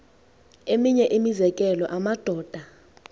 eminye imizekelo amadoda